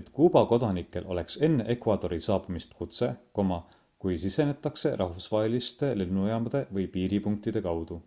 et kuuba kodanikel oleks enne ecuadori saabumist kutse kui sisenetakse rahvusvaheliste lennujaamade või piiripunktide kaudu